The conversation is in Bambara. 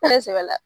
Ne sɛbɛla